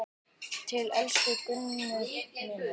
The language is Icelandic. Til elsku Gunnu minnar.